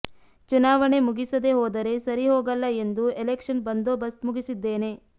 ಚುನಾವಣೆ ಮುಗಿಸದೇ ಹೋದರೆ ಸರಿ ಹೋಗಲ್ಲ ಎಂದು ಎಲೆಕ್ಷನ್ ಬಂದೋಬಸ್ತ್ ಮುಗಿಸಿದ್ದೇನೆ